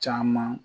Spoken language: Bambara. Caman